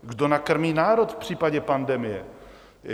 Kdo nakrmí národ v případě pandemie?